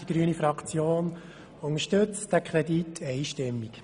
Die grüne Fraktion unterstützt diesen Kredit einstimmig.